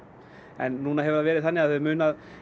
en núna hefur það verið þannig að það munar